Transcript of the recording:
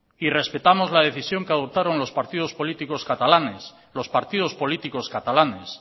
y respetamos la decisión que adoptaron los partidos políticos catalanes